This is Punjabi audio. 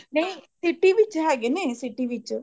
ਨਹੀਂ city ਵਿੱਚ ਹੈਗੇ ਨੇ city ਵਿੱਚ